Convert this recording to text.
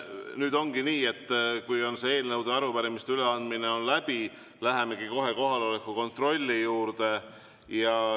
Nüüd ongi nii, et kui eelnõude ja arupärimiste üleandmine on läbi, siis lähemegi kohe kohaloleku kontrolli juurde.